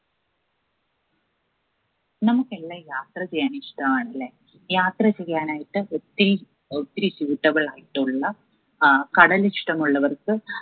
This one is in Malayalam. നമ്മുക്കെല്ലാ യാത്ര ചെയ്യാൻ ഇഷ്ടാണ് ല്ലേ. യാത്ര ചെയ്യാനായിട്ട് ഒത്തിരി ഒത്തിരി suitable ആയിട്ടുള്ള ആഹ് കടൽ ഇഷ്ടമുള്ളവർക്ക്